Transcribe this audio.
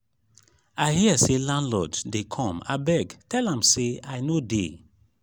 i hear say landlord dey come abeg tell am say i no dey